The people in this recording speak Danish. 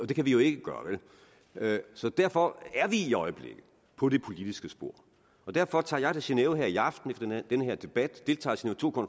det kan vi jo ikke gøre så derfor er vi i øjeblikket på det politiske spor og derfor tager jeg til genève her i aften efter den her debat